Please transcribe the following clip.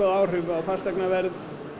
áhrif á fasteignaverð